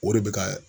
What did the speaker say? O de bɛ ka